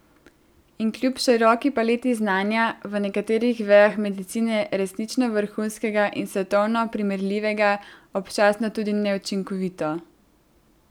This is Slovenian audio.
In kljub široki paleti znanja, v nekaterih vejah medicine resnično vrhunskega in svetovno primerljivega, občasno tudi neučinkovito.